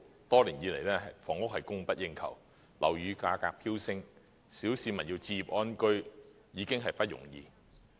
多年以來，房屋供不應求，樓宇價格飆升，小市民要置業安居，已經不容易。